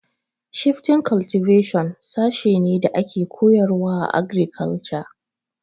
Shifting cultivation sashe ne da ake koyarwa a agrikalture